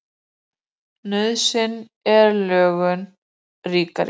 Nauðsyn er lögum ríkari.